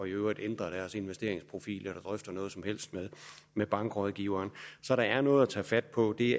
øvrigt ændrer deres investeringsprofil eller drøfter noget som helst med bankrådgiveren så der er noget at tage fat på det